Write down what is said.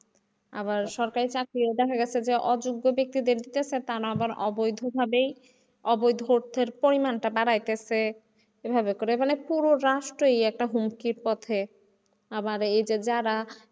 আবার সরকারি চাকরিতেও দেখা গেছে যে অযোগ্য বেক্তিদের নিচ্ছে তা না অবৈধ ভাবে অবৈধ অর্থের পরিমাণটা বাড়াইছে এভাবে মানে পুরো রাষ্ট্রই একটা হুমকির পথে, আবার এইযে যারা,